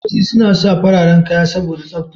Likitoci suna sa fararen kaya saboda tsafta.